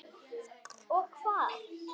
Og hvar.